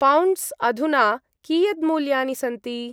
Pounds अधुना कियद्मूल्यानि सन्ति?